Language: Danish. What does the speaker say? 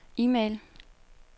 e-mail